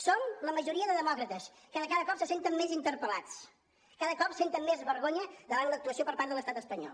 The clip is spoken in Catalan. som la majoria de demòcrates que de cada cop se senten més interpel·lats cada cop senten més vergonya davant l’actuació per part de l’estat espanyol